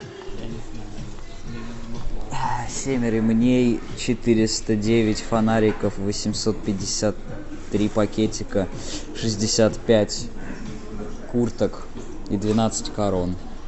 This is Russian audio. семь ремней четыреста девять фонариков восемьсот пятьдесят три пакетика шестьдесят пять курток и двенадцать корон